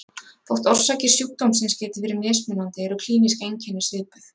Þótt orsakir sjúkdómsins geti verið mismunandi eru klínísk einkenni svipuð.